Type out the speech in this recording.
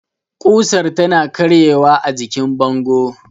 kusar tana karye wa ajikin bango